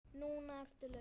Núna ertu laus.